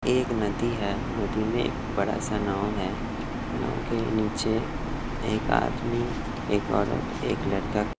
एक नदी है नदी में एक बड़ा सा नाव है नाव के नीचे एक आदमी एक औरत एक लड़का--